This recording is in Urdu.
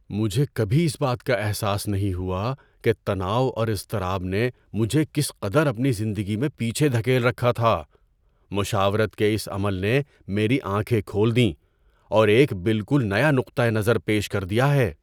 مجھے کبھی اس بات کا احساس نہیں ہوا کہ تناؤ اور اضطراب نے مجھے کس قدر اپنی زندگی میں پیچھے دھکیل رکھا تھا۔ مشاورت کے اس عمل نے میری آنکھیں کھول دیں اور ایک بالکل نیا نقطہ نظر پیش کر دیا ہے!